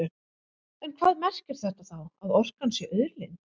En hvað merkir þetta þá, að orkan sé auðlind?